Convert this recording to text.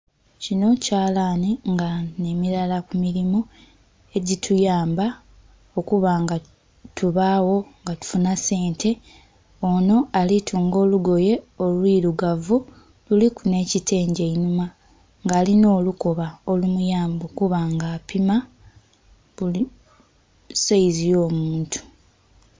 Kinho kyalanhi nga nhe milala ku milimo egituyamba okuba nga tubagho nga tufunha sente. Onho ali tuunga olugoye olwilugavu, luliku nh'ekitengi einhuma nga alinha olukoba olumuyamba okuba nga apima buli saizi yo muntu